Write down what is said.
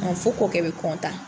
fo kɔɔkɛ bɛ